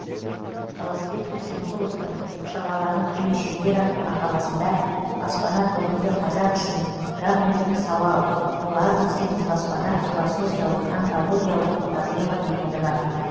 таласбек әсемқұловтың шырғалаңы қиын шеңбер атты мақаласында баспана бүгінгі қазақ үшін гамлеттік сауал ол аз десеңіз баспана философиялық онтологиялық проблема дегені бар